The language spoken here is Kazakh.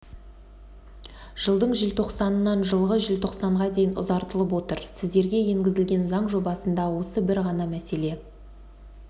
жылдың желтоқсанынан жылғы желтоқсанға дейін ұзартылып отыр сіздерге енгізілген заң жобасында осы бір ғана мәселе